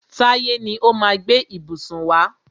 Táyé ni ó má a gbé ìbùsùn wá.